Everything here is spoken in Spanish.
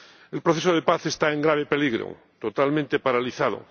El proceso de paz está en grave peligro, totalmente paralizado.